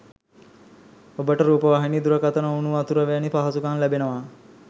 ඔබට රූපවාහිනී දුරකථන උණුවතුර වැනි පහසුකම් ලැබෙනවා.